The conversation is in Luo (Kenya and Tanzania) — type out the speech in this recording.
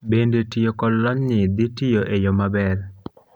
bende tiyo kod lonyni dhitiyo e yo maber